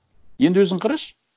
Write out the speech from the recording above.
енді өзің қарашы